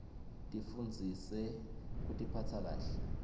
tifundzise kutiphatsa kahle